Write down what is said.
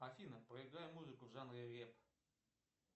афина поиграй музыку в жанре рэп